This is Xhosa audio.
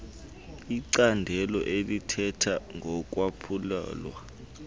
icandelo elithetha ngokwaphulwa